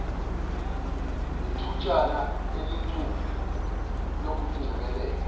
nethutshana elincu lokungcebeleka